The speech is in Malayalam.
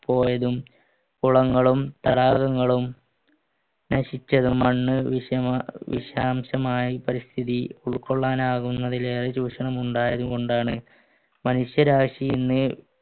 പോയതും കുളങ്ങളും തടാകങ്ങളും നശിച്ചതും മണ്ണ് വിഷാം വിഷാംശമായി പരിസ്ഥിതി ഉൾക്കൊള്ളാനാകുന്നതിലേറെ ചൂഷണം ഉണ്ടായതുകൊണ്ടാണ് മനുഷ്യരാശി ഇന്ന്